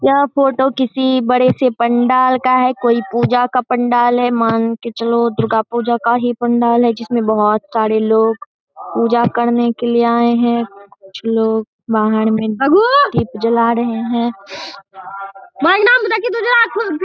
यह फोटो किसी बड़े से पंडाल का है कोई पूजा का पंडाल है मान के चलो दुर्गा पूजा का ही पंडाल है जिसमें बहुत सारे लोग पूजा करने के लिए आएं हैं कुछ लोग बाहर में में दीप जला रहें हैं।